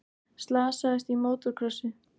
Slasaðist í mótorkrossi